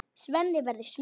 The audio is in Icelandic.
Svenni verður smiður.